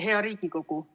Hea Riigikogu!